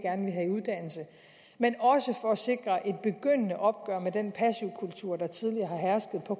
uddannelse men også for at sikre et begyndende opgør med den passivkultur der tidligere har hersket på